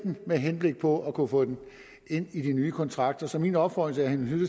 med henblik på at kunne få den ind i de nye kontrakter så min opfordring